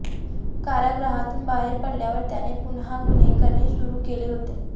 कारागृहातून बाहेर पडल्यावर त्याने पुन्हा गुन्हे करणे सुरु केले होते